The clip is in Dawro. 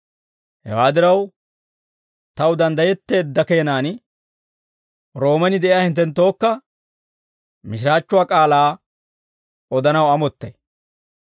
Hewaa diraw, taw danddayetteedda keenaan Roomen de'iyaa hinttenttookka mishiraachchuwaa k'aalaa odanaw amottay.